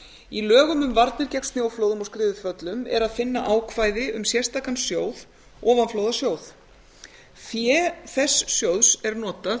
í lögum um varnir gegn snjóflóðum og skriðuföllum er að finna ákvæði um sérstakan sjóð ofanflóðasjóð fé þess sjóðs er notað